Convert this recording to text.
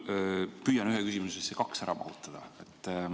Ma püüan ühte küsimusse kaks ära mahutada.